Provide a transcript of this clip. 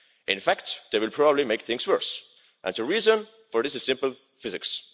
In fact they will probably make things worse, and the reason for this is simple physics.